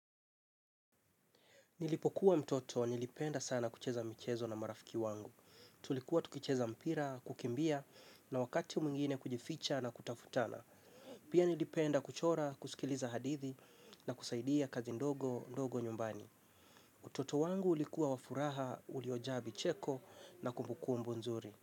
Nilipokuwa mtoto, nilipenda sana kucheza michezo na marafiki wangu. Tulikuwa tukicheza mpira, kukimbia na wakati mwingine kujificha na kutafutana. Pia nilipenda kuchora, kusikiliza hadithi na kusaidia kazi ndogo, ndogo nyumbani. Utoto wangu ulikuwa wa furaha, uliojaa vicheko na kumbu kumbu nzuri.